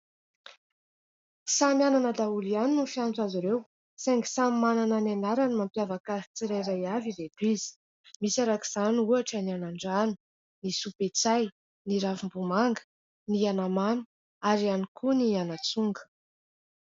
Samy anana daholo ihany ny fiantso azy ireo saingy samy manana ny anarany mampiavaka azy tsirairay avy ireto izy. Misy arak'izany ohatra ny anandrano, ny soapetsay, ny ravimbomanga, ny anamamy ary ihany koa ny anatsonga.